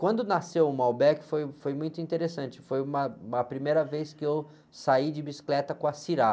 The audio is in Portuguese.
Quando nasceu o foi, foi muito interessante, foi uma, uma primeira vez que eu saí de bicicleta com a.